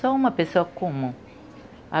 Sou uma pessoa comum.